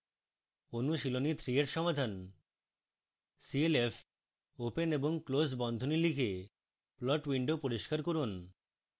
অনুশীলনী 3 এর সমাধান: